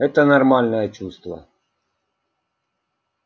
это нормальное чувство